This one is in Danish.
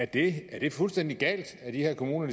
det er det fuldstændig galt at de her kommuner